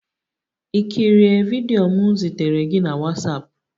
You kirie vidiyo m zitere gị na WhatsApp?